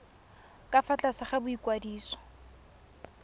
ka fa tlase ga boikwadiso